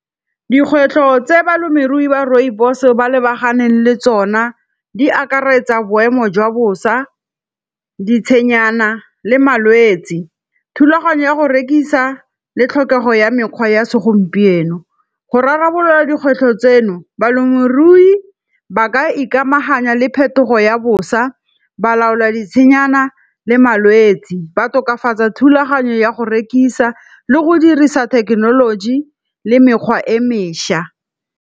Dikgwetlho tse balemirui ba rooibos ba lebaganeng le tsona di akaretsa boemo jwa bosa, ditshedinyana le malwetsi. Thulaganyo ya go rekisa le tlhokego ya mekgwa ya segompieno. Go rarabolola dikgwetlho tseno, balemirui ba ka ikamaganya le phetogo ya bosa, ba laolwa ditshenyana le malwetsi. Ba tokafatsa thulaganyo ya go rekisa le go dirisa thekenoloji le mekgwa e mešwa.